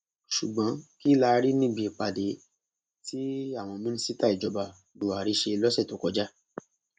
ṣùgbọn kí la rí níbi ìpàdé tí àwọn mínísítà ìjọba buhari ṣe lọsẹ tó kọjá